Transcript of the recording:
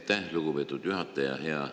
Aitäh, lugupeetud juhataja!